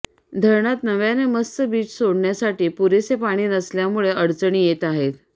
धरणात नव्याने मत्स्य बीज सोडण्यासाठी पुरेसे पाणी नसल्यामुळे अडचणी येत आहेत